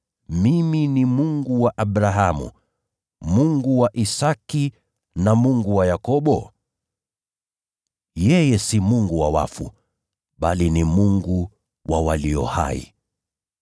‘Mimi ni Mungu wa Abrahamu, Mungu wa Isaki, na Mungu wa Yakobo’? Yeye si Mungu wa wafu, bali ni Mungu wa walio hai.”